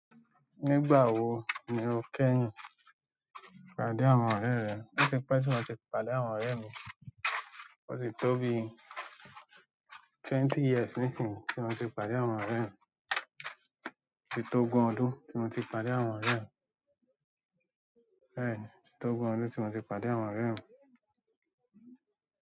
Nígbà wo ni o kẹ́yìn pàdé àwọn ọ̀rẹ́ rẹ? Ó ti pẹ́ tí mo ti pàdé àwọn ọ̀rẹ́ mi. Ó ti tó bi twenty years nísìínyi tí mo ti pàdé àwọn ọ̀rẹ́ mi. Ó ti tó igun ọdún tí mo ti pàdé àwọn ọ̀rẹ́ mi. Bẹẹ́ni, o ti tó ogun ọdún tí mo ti pàdé àwọn ọ̀rẹ́ mi.